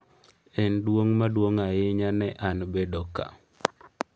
“En duong’ maduong’ ahinya ne an bedo kae.”